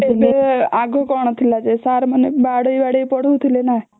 ଆଗୁ କଣ ଥିଲା ଯେ ସାର ମାନେ ବାଡେଇ ବାଡେଇ ପଢ଼ାଉଥିଲେ ନାଁ